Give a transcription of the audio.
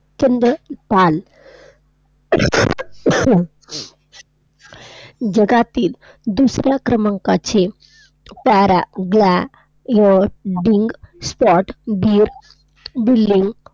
प्रचंड चाल जगातील दुसऱ्या क्रमांकाचे paragliding spot